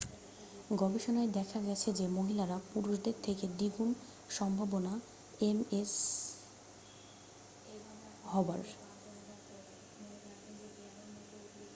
গবেষণায় দেখা গেছে যে মহিলারা পুরুষদের থেকে দ্বিগুণ সম্ভাবনা এমএসহবার